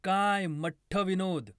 काय मठ्ठ विनोद